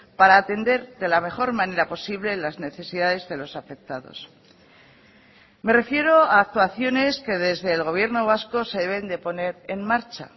para atender de la mejor manera posible las necesidades de los afectados me refiero a actuaciones que desde el gobierno vasco se deben de poner en marcha